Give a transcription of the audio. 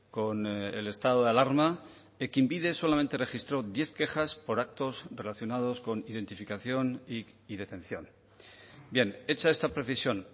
con el estado de alarma ekinbide solamente registró diez quejas por actos relacionados con identificación y detención bien hecha esta precisión